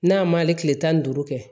N'a ma hali tile tan ni duuru kɛ